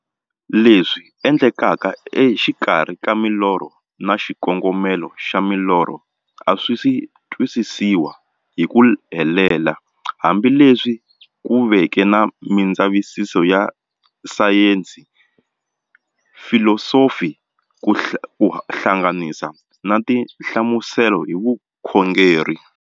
Leswi endlekaka exikarhi ka milorho na xikongomelo xa milorho a swisi twisisiwa hi ku helela, hambi leswi ku veke na mindzavisiso ya sayensi, filosofi ku hlanganisa na tinhlamuselo hi vukhongori.